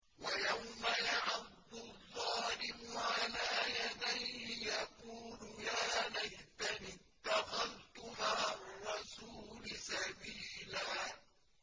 وَيَوْمَ يَعَضُّ الظَّالِمُ عَلَىٰ يَدَيْهِ يَقُولُ يَا لَيْتَنِي اتَّخَذْتُ مَعَ الرَّسُولِ سَبِيلًا